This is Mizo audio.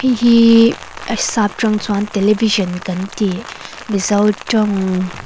heihi a saptawng chuan television kan ti mizo tawng--